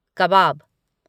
कबाब